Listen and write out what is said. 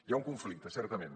hi ha un conflicte certament